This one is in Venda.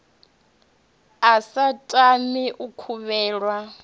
a sa tami u kovhelwa